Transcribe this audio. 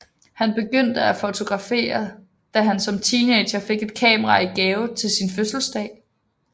Han begyndte at fotografere da han som teenager fik et kamera i gave til sin fødselsdag